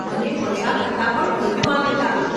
મને મઝા કરતાં પણ વધુ આનંદ આવ્યો.